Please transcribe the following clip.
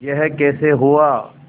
यह कैसे हुआ